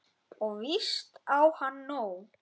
Og víst á hann nóg.